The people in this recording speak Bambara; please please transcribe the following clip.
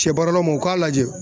Shɛ baaralaw man u k'a lajɛ.